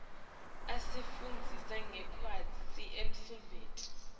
asifundzisa ngekwenta umsebenti